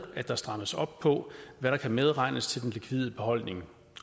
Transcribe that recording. at der strammes op på hvad der kan medregnes til den likvide beholdning